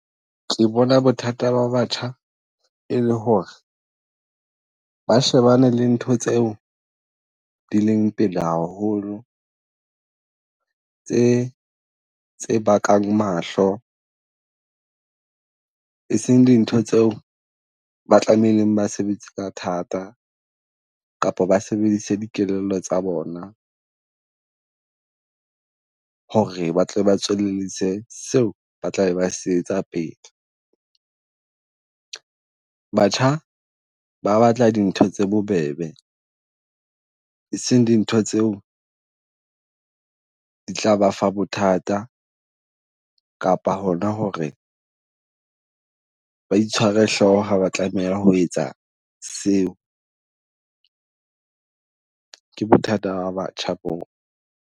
Ke bona bothata ba batjha, e le ho re ba shebane le ntho tseo di leng pele haholo tse, tse bakang mahlo, e seng dintho tseo ba tlameileng ba sebetsa ka thata kapo ba sebedise dikelello tsa bona ho re ba tle ba tswelellise seo ba tla be ba sebetsa pele. Batjha ba batla dintho tse bobebe, e seng dintho tseo di tla ba fa bothata kapa hona ho re ba itshwara hloho ha ba tlameha ho etsa seo. Ke bothata ba batjha boo.